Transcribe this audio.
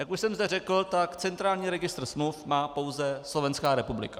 Jak už jsem zde řekl, tak centrální registr smluv má pouze Slovenská republika.